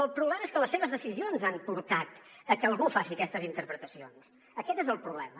el problema és que les seves decisions han portat a que algú faci aquestes in·terpretacions aquest és el problema